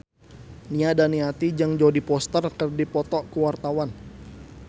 Nia Daniati jeung Jodie Foster keur dipoto ku wartawan